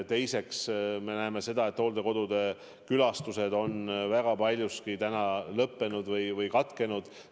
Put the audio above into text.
Teiseks, me näeme seda, et hooldekodude külastused on suures osas tänaseks lõppenud või katkenud.